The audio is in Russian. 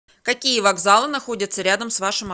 какие вокзалы находятся рядом с вашим